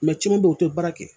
ci caman be yen o te baara kɛ